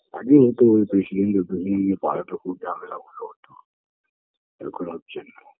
আগে হতো ওই president -এর জন্যই এই পাড়াটায় খুব ঝামেলা হতো এখন হচ্ছে না